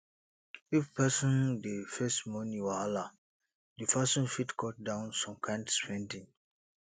if person dey face money wahala di person fit cut down some kind spending